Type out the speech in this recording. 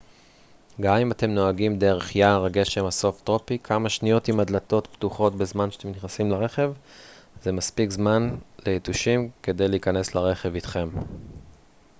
גם אם אתם נוהגים דרך יער הגשם הסובטרופי כמה שניות עם הדלתות פתוחות בזמן שאתם נכנסים לרכב זה מספיק זמן ליתושים כדי להיכנס לרכב איתכם